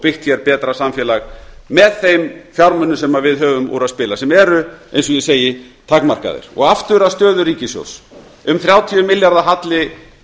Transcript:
byggt hér betra samfélag með þeim fjármunum sem við höfum úr að spila sem eru eins og ég segi takmarkaðir aftur að stöðu ríkissjóðs um þrjátíu milljarða halli